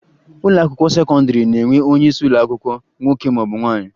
Ụlọakwụkwọ sekọndịrị na-enwe onyeisi ụlọakwụkwọ nwoke maọbụ nwaanyị